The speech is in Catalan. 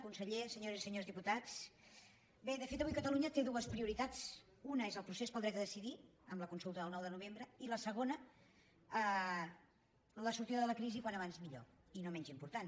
conseller senyores i senyors diputats bé de fet avui catalunya té dues prioritats una és el procés pel dret a decidir amb la consulta del nou de novembre i la segona la sortida de la crisi com més aviat millor i no menys important